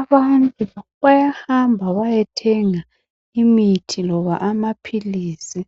Abantu bayahamaba bayethenga imithi loba amaphilisi